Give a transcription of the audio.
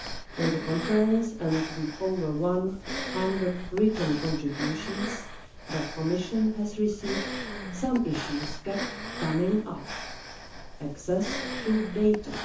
In the conference, as in the more than 100 written contributions the Commission has received, some issues kept coming up access to data